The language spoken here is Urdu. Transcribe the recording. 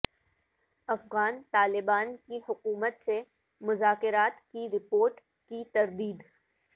افغان طالبان کی حکومت سے مذاکرات کی رپورٹ کی تردید